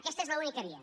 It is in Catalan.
aquesta és l’única via